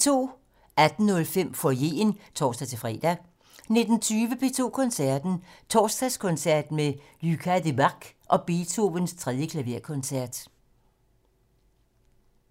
18:05: Foyeren (tor-fre) 19:20: P2 Koncerten - Torsdagskoncert med Lucas Debargue og Beethovens 3. klaverkoncert